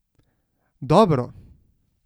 Dobro!